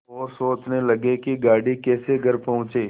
और सोचने लगे कि गाड़ी कैसे घर पहुँचे